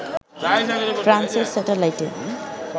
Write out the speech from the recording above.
ফ্রান্সের স্যাটেলাইটে